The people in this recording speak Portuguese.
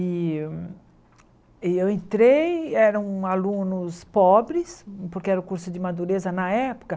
E e eu entrei, eram alunos pobres, porque era o curso de madureza na época.